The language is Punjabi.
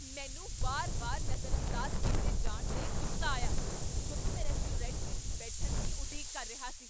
ਮੈਨੂੰ ਵਾਰ ਵਾਰ ਨਜ਼ਰਅੰਦਾਜ਼ ਕੀਤੇ ਜਾਣ 'ਤੇ ਗੁੱਸਾ ਆਇਆ, ਜਦੋਂ ਮੈਂ ਰੈਸਟੋਰੈਂਟ ਵਿਚ ਬੈਠਣ ਦੀ ਉਡੀਕ ਕਰ ਰਿਹਾ ਸੀ